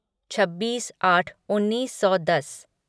छब्बीस आट उन्नीस सौ दस